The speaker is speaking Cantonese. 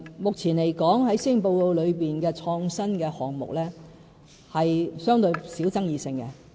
目前來說，施政報告提及的創新項目是相對爭議性較少的。